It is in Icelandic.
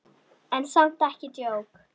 En samt ekki djók.